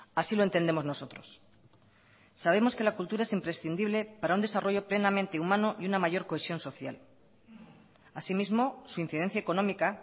así lo entendemos nosotros sabemos que la cultura es imprescindible para un desarrollo plenamente humano y una mayor cohesión social así mismo su incidencia económica